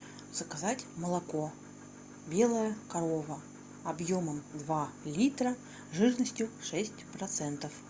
заказать молоко белая корова объемом два литра жирностью шесть процентов